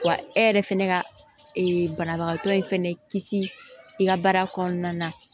Wa e yɛrɛ fɛnɛ ka e banabagatɔ in fɛnɛ kisi i ka baara kɔnɔna na